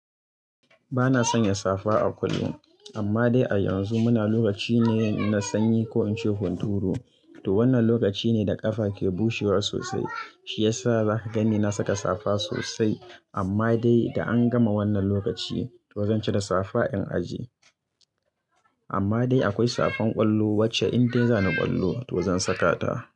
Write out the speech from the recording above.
Bana sanya safa a kullum. Amma dai a yanzu muna lokaci ne na sanyi ko in ce hunturu. To wannan lokaci ne da ƙafa ke bushewa sosai, shi yasa za ka gani na saka safa sosai. Amma dai da an gama wannan lokaci, to zan cire safa in ajiye. Amma dai akwai safan ƙwallo wacce indai dai za ni ƙwallo to zan saka ta.